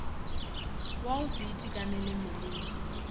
wa go se itekanele mmeleng